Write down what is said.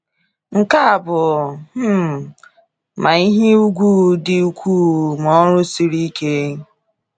Nke a bụ um ma ihe ùgwù dị ukwuu ma ọrụ siri ike.